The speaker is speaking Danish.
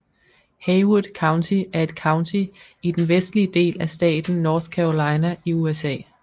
Haywood County er et county i den vestlige del af staten North Carolina i USA